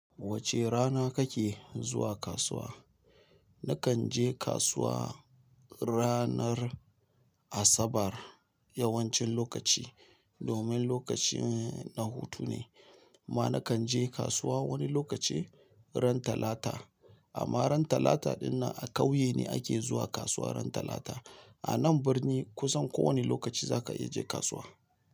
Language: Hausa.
Wace rana kake zuwa kasuwa? Nakan je kasuwa ranar Asabar yawancin lokaci domin lokacin na hutu ne. Ma nakan je kasuwa wani lokaci ran Talata. Amma ran Talata ɗinnan a kauye ne ake zuwa kasuwa ran Talata. A nan birni kusan ko wane lokaci zaka iya je kasuwa.